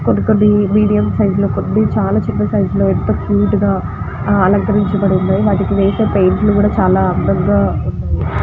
కొన్ని కొన్ని medium size లో కొన్ని కొన్ని చిన్న సైజు లో చాల బాగా అలక్రించి వున్నాయ్. వాటికిన్వేసే పెయింట్ లు కూడా ఎంతో అందం గ వున్నాయ్.